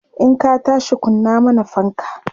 in ka tashi kunna mana fanka!